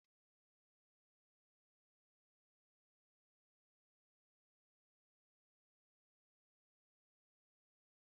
Ilu ilu bụ ajụjụ dị aghụghọ ma ọ bụ nkwupụta na-eme ka ị chesie echiche ike ịchọpụta azịza ya.